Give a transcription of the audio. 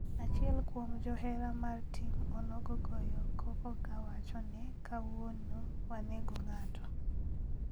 Achiel kuom johera mar tim onogo goyo koko ka wacho ne kawuonio wanego ng'ato